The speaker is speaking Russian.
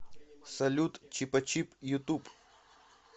салют чипачип ютуб